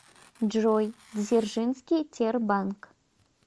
джой дзержинский тербанк